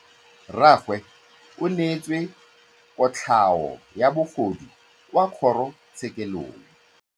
Rragwe o neetswe kotlhaô ya bogodu kwa kgoro tshêkêlông.